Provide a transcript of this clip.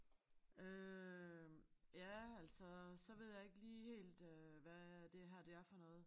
Øh ja altså så ved jeg ikke lige helt øh hvad det her det er for noget